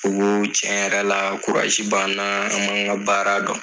U ko tiɲɛ yɛrɛ la b'an an b'an ka baara dɔn.